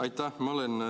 Aitäh!